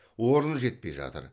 орын жетпей жатыр